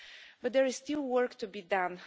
But there is still work to be done.